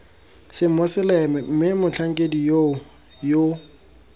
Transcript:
semoseleme mme motlhankedi yoo yo